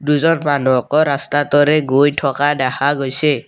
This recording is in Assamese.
দুজন মানুহকো ৰাস্তাটোৰে গৈ থকা দেখা গৈছে।